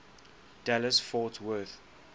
dallas fort worth